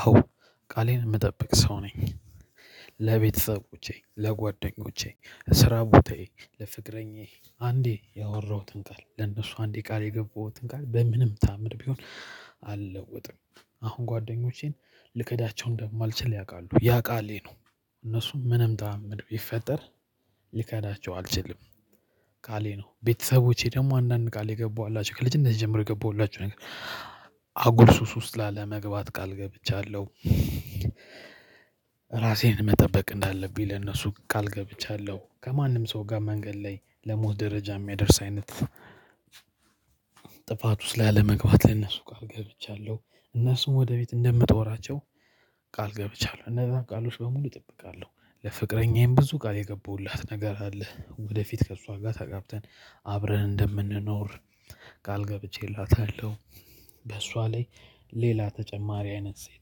አዎ ቃሌን እምጠብቅ ሰው ነኝ። ለቤተሰቦቼ ለጓደኞቼ እስራ ቦታዬ ለፍቅረኛዬ አንዴ ያወራሁትን ቃል ለእነሱ አንዴ ቃል የገባሁትን ቃል በምንም ታምር ቢሆን አልለወጥም። አሁን ጓደኞቼን ልከዳቸው እንደማልችል ያውቃሉ ያ ቃሌ ነው። እነሱም ምንም ታምር ቢፈጠር ሊከዳቸው አልችልም። ቃሌ ነው ቤተሰቦቼ ደግሞ አንዳንድ ቃል የገባውላችሁ ልጅነቴ ጀምሮ የገባውላችሁ ነገር አጉል ሱስ ውስጥ ላለመግባት ቃል ገብቻለሁ። ራሴን መጠበቅ እንዳለብኝ ለነሱ ቃል ገብቻለሁ ከማንም ሰው ጋር መንገድ ላይ ለሞት ደረጃ እሚያደርስ አይነት። ጥፋት ውስጥ ላለመግባት ለነሱ ቃል ገብቻለሁ። እነሱን ወደ ፊት እንደምጦራቸው ቃል ገብቻለሁ። እነዛን ቃሎች በሙሉ እጠብቃለሁ። ለፍቅረኛዬም ብዙ ቃል የገባውላት ነገር አለ። ወደፊት ከእሷ ጋር ተጋብተን አብረን እንደምንኖር ቃል ገብቼላታለሁ። በሷ ላይ ሌላ ተጨማሪ አይነት ሴት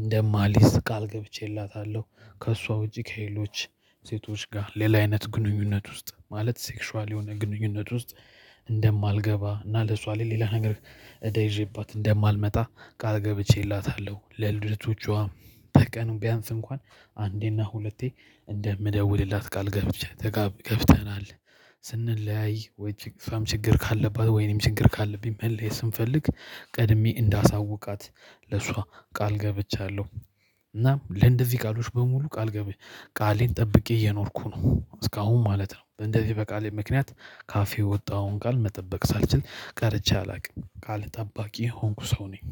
እንደማልይዝ ቃል ገብቼላታለሁ። ከእሷ ውጪ ከሌሎች ሴቶች ጋር ሌላ አይነት ግንኙነት ውስጥ ማለት ሴክሽዋል የሆነ ግንኙነት ውስጥ። እንደማልገባ እና ለሷ ሌላ ነገር እዳ ይዤባት እንደማልመጣ ቃልገብቼላታለሁ። ለልደቶቿ በቀኑ ቢያንስ እንኳን አንዴና ሁለቴ እንደምደውልላት ቃል ገብቼ ገብተናል። ስንለያይ ወይስ እሷም ችግር ካለባት ወይ እኔም ችግር ካለብኝ መለያየት ስንፈልግ ቀድሜ እንዳሳውቃት ለሷ ቃል ገብቻለሁ። እና ለእንደዚህ ቃሎች በሙሉ ቃል ገብቻለሁ ቃሌን ጠብቄ እየኖርኩ ነው እስካሁን ማለት ነው። እንደዚህ በቃሌ ምክንያት ካፌ የወጣውን ቃል መጠበቅ ሳልችል ቀርቼ አላቅም ቃል ጠባቂ የሆንኩ ሰው ነኝ